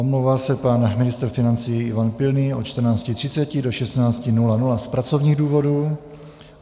Omlouvá se pan ministr financí Ivan Pilný od 14.30 do 16.00 z pracovních důvodů.